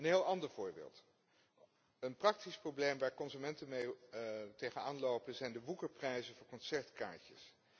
Een heel ander voorbeeld een praktisch probleem waar consumenten tegenaan lopen zijn de woekerprijzen voor concertkaartjes.